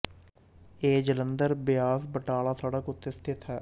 ਇਹ ਜਲੰਧਰ ਬਿਆਸ ਬਟਾਲਾ ਸੜਕ ਉੱਤੇ ਸਥਿਤ ਹੈ